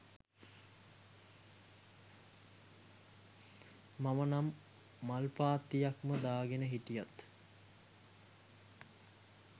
මම නම් මල් පාත්තියක්ම දාගෙන හිටියත්